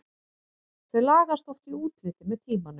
Þau lagast oft í útliti með tímanum.